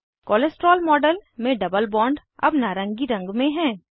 cholesterol model में double bond अब नारंगी रंग में है